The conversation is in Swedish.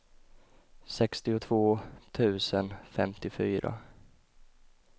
sextiotvå tusen femtiofyra